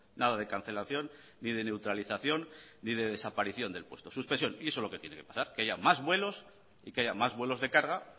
nada de cancelación ni de neutralización ni de desaparición del puesto suspensión y eso es lo que tiene que pasar que haya más vuelos y que haya más vuelos de carga